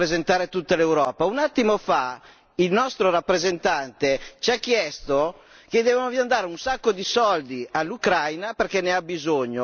Un attimo fa il nostro rappresentante ci ha chiesto che dobbiamo dare un sacco di soldi all'Ucraina perché ne ha bisogno e rappresenta tutta l'Europa.